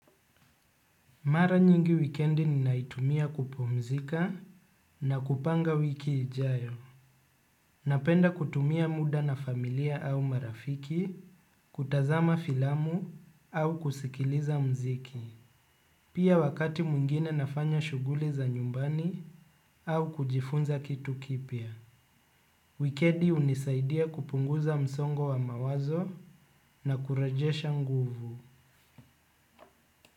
Mara nyingi wikendi ninaitumia kupumzika na kupanga wiki ijayo. Napenda kutumia muda na familia au marafiki, kutazama filamu au kusikiliza mziki. Pia wakati mwingine nafanya shuguli za nyumbani au kujifunza kitu kipya. Wikendi unisaidia kupunguza msongo wa mawazo na kurejesha nguvu.